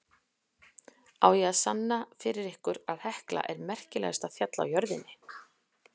Á ég að sanna fyrir ykkur að Hekla er merkilegasta fjallið á jörðinni?